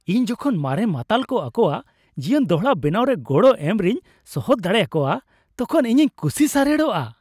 ᱤᱧ ᱡᱚᱠᱷᱚᱱ ᱢᱟᱨᱮᱱ ᱢᱟᱛᱟᱞ ᱠᱚ ᱟᱠᱚᱣᱟᱜ ᱡᱤᱭᱚᱱ ᱫᱚᱲᱦᱟ ᱵᱮᱱᱟᱣᱨᱮ ᱜᱚᱲᱚ ᱮᱢ ᱨᱮᱧ ᱥᱚᱦᱚᱛ ᱫᱟᱲᱮ ᱟᱠᱚᱣᱟ ᱛᱚᱠᱷᱚᱱ ᱤᱧᱤᱧ ᱠᱩᱥᱤ ᱥᱟᱨᱮᱲᱚᱜᱼᱟ ᱾